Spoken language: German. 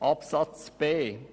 Zu Buchstabe b: